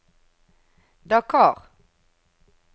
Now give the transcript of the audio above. Dakar